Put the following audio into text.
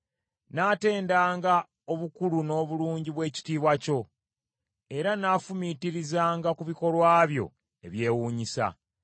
Nnaatendanga obukulu n’obulungi bw’ekitiibwa kyo, era nnaafumiitirizanga ku bikolwa byo ebyewuunyisa.